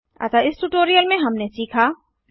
अतः इस ट्यूटोरियल में हमने सीखा